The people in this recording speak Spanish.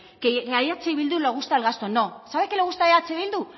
que a eh bildu le gusta el gasto no sabe qué le gusta a eh bildu